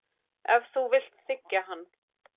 Ef þú vilt þiggja hann.